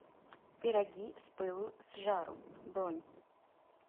пироги с пылу с жару бронь